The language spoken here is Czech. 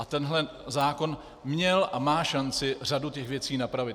A tenhle zákon měl a má šanci řadu těch věcí napravit.